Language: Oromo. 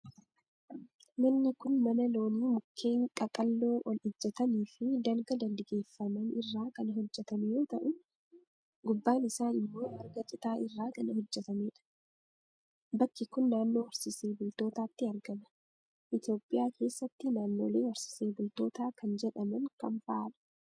Manni kun, mana loonii mukkeen qaqalloo ol ijjatanii fi dalga dalgeeffaman irraa kan hojjatame yoo ta'u, gubbaan isaa immoo marga citaa irraa kan hojjatamee dha. Bakki kun, naannoo horsiisee bultootaatti argama. Itoophiyaa keessatti, naannolee horsiisee bultoota kan jedhaman kam faa dha?